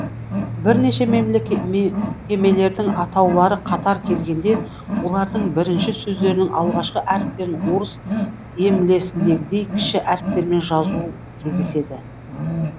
бірнеше мекемелердің атаулары қатар келгенде олардың бірінші сөздерінің алғашқы әріптерін орыс емлесіндегідей кіші әріптермен жазу кездеседі